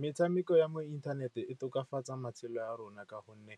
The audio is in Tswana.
Metshameko ya mo inthaneteng e tokafatsa matshelo a rona ka gonne